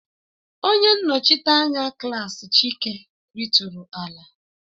Onye nnochite anya klaasị Chike ritụrụ ala